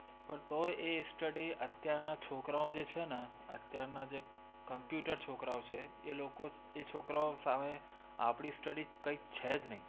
પણ તોય એ study અત્યારના છોકરાઓ જે છે ને અત્યારના જે computer છોકરાઓ છે એ લોકો, એ છોકરાઓ સામે આપણી study કાંઈ છે જ નહીં.